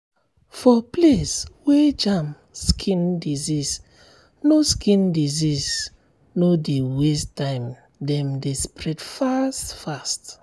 for place wer jam skin disease no skin disease no dey waste time dem dey spread fast fast.